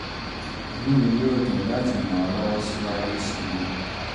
inú mi yóò dùn láti yóò dùn láti ràn ọ́ lọ́wọ́ síwájú sí i